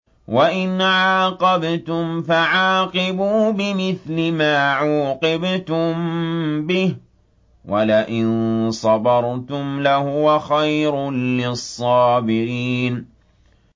وَإِنْ عَاقَبْتُمْ فَعَاقِبُوا بِمِثْلِ مَا عُوقِبْتُم بِهِ ۖ وَلَئِن صَبَرْتُمْ لَهُوَ خَيْرٌ لِّلصَّابِرِينَ